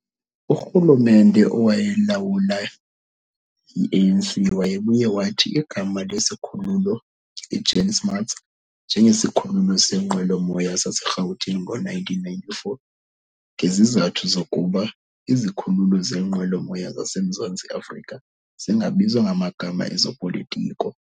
Urhulumente owayelawulwa yi-ANC wayebuye wathi igama lesikhululo iJan Smuts njengeSikhululo senqwelomoya saseRhawutini ngo-1994 ngezizathu zokuba izikhululo zeenqwelomoya zase Mzantsi Afrika zingabizwa ngamagama ezopolitiko.